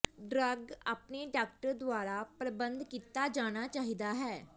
drug ਆਪਣੇ doctor ਦੁਆਰਾ ਪਰ੍ਬੰਧਤ ਕੀਤਾ ਜਾਣਾ ਚਾਹੀਦਾ ਹੈ